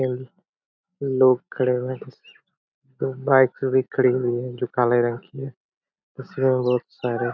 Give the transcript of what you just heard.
अम लोग खड़े हुए हैं बाइक भी खड़ी हुई है जो काले रंग की है उसमे बहुत सारे--